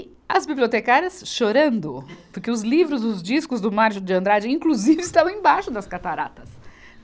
As bibliotecárias chorando, porque os livros, os discos do Márcio de Andrade, inclusive, estavam embaixo das cataratas.